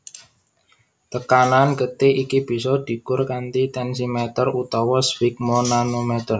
Tekanan getih iki bisa dikur kanthi tensimeter utawa sfigmomanometer